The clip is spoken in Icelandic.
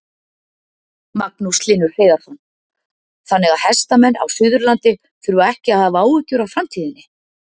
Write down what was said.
Magnús Hlynur Hreiðarsson: Þannig að hestamenn á Suðurlandi þurfa ekki að hafa áhyggjur af framtíðinni?